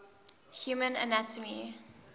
human anatomy